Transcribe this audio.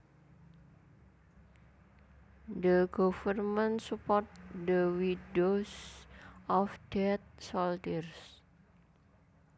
The government supports the widows of dead soldiers